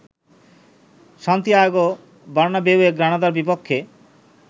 Santiago বার্নাবেউয়ে গ্রানাদার বিপক্ষে